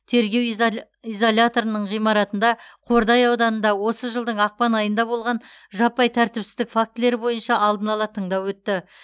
тергеу изаля изоляторының ғимаратында қордай ауданында осы жылдың ақпан айында болған жаппай тәртіпсіздік фактілері бойынша алдын ала тыңдау өтті